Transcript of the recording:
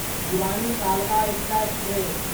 भिवानी कालका एकटा एक्सप्रेस